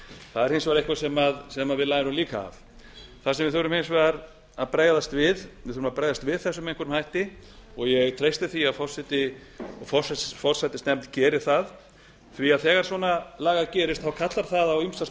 það er hins vegar eitthvað sem við lærum líka af það sem við þurfum hins vegar að bregðast við við þurfum að bregðast við þessu með einhverjum hætti og ég treysti því að forseti og forsætisnefnd geri það því að þegar svona lagað gerist kallar það á ýmsar